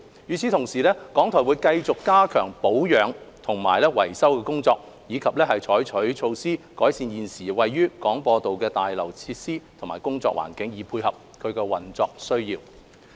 與此同時，港台會繼續加強保養和維修的工作，以及採取措施改善現時位於廣播道的大樓設施及工作環境，配合運作需要。